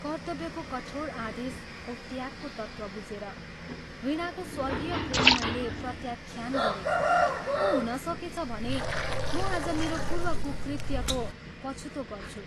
कर्त्तव्यको कठोर आदेश औ त्यागको तत्त्व बुझेर, वीणाको स्वर्गीय प्रेम मैले प्रत्याख्यान गरें औ हुन सकेछ भने म आज मेरो पूर्व कुकृत्यको पछितो गर्छु।